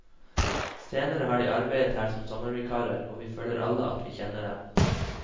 Senere har de arbeidet her som sommervikarer, og vi føler alle at vi kjenner dem.